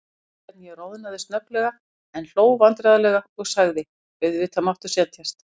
Ég fann hvernig ég roðnaði snögglega, en hló vandræðalega og sagði: Auðvitað máttu setjast.